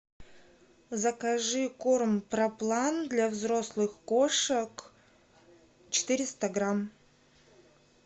закажи корм проплан для взрослых кошек четыреста грамм